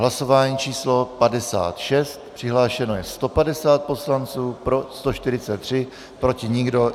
Hlasování číslo 56, přihlášeno je 150 poslanců, pro 143, proti nikdo.